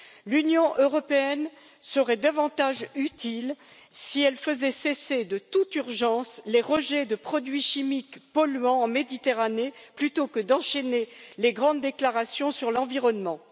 L'Union européenne serait davantage utile si elle faisait cesser de toute urgence les rejets de produits chimiques polluants en Méditerranée plutôt que d'enchaîner les grandes déclarations sur l'environnement.